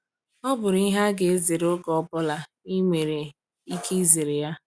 “Ọ bụ ihe a ga-azere oge ọ bụla i nwere ike izere ya.”